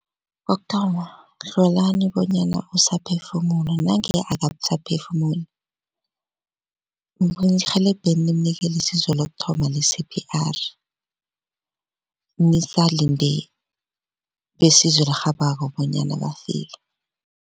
Kokuthoma hlolani bonyana usaphefumula nange akasaphefumuli mrhelebheni nimnikele isizo lokuthoma le-C_P_R nisalinde besizo elirhabako bonyana bafike.